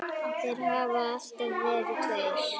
Þeir hafa alltaf verið tveir.